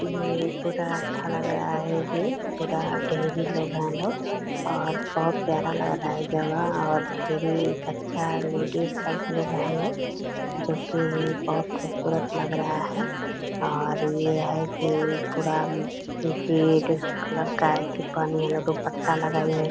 ये पूरा अच्छा लग रहा है ये पूरा ढेरी लोग है लोग और बहुत प्यारा लग रहा है जगह और ढ़ेरी अच्छा लेडिस सब लोग है लोग जो कि बहुत खूबसूरत लग रहा है और ये है कि पूरा उम्म रेड कलर का अथि पहनी है लोग दुपट्टा लगाई --